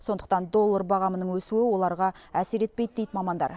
сондықтан доллар бағамының өсуі оларға әсер етпейді дейді мамандар